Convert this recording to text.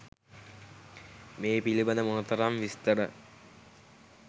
මේ පිළිබඳ මොනතරම් විස්තර